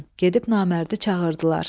Gedib namərdi çağırdılar.